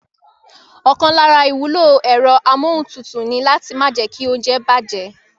Ọ̀kan lára ìwúlò ẹ̀rọ amúohuntutù ni láti má jẹ́kí óúnjẹ bàjẹ́